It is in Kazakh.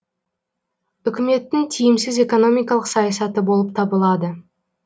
үкіметтің тиімсіз экономикалық саясаты болып табылады